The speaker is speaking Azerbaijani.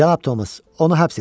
Cənab Tomas, onu həbs edin.